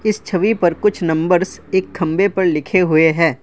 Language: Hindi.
इस छवि पर कुछ नंबर्स एक खंबे पर लिखे हुए हैं।